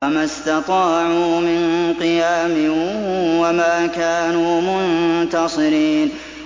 فَمَا اسْتَطَاعُوا مِن قِيَامٍ وَمَا كَانُوا مُنتَصِرِينَ